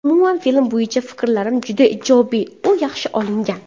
Umuman, film bo‘yicha fikrlarim juda ijobiy, u yaxshi olingan.